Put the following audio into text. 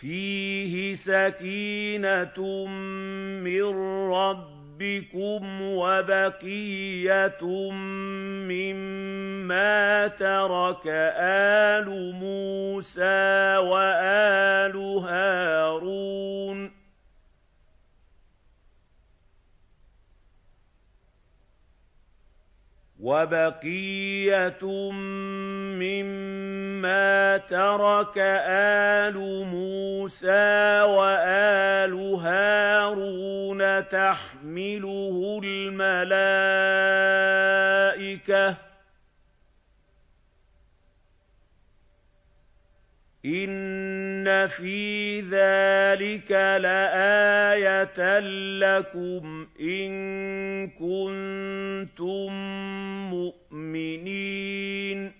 فِيهِ سَكِينَةٌ مِّن رَّبِّكُمْ وَبَقِيَّةٌ مِّمَّا تَرَكَ آلُ مُوسَىٰ وَآلُ هَارُونَ تَحْمِلُهُ الْمَلَائِكَةُ ۚ إِنَّ فِي ذَٰلِكَ لَآيَةً لَّكُمْ إِن كُنتُم مُّؤْمِنِينَ